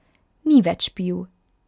Ni več pil.